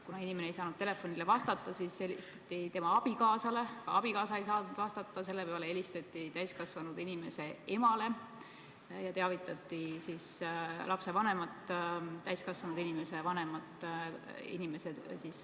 Kuna inimene ei saanud telefonile vastata, siis helistati tema abikaasale, aga kuna ka abikaasa ei saanud vastata, siis helistati täiskasvanud inimese emale ja teavitati analüüsitulemustest lapsevanemat, täiskasvanud inimese vanemat.